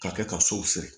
Ka kɛ ka sow siri